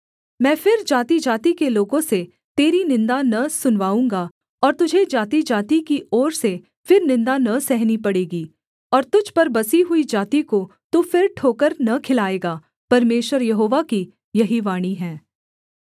मैं फिर जातिजाति के लोगों से तेरी निन्दा न सुनवाऊँगा और तुझे जातिजाति की ओर से फिर निन्दा न सहनी पड़ेगी और तुझ पर बसी हुई जाति को तू फिर ठोकर न खिलाएगा परमेश्वर यहोवा की यही वाणी है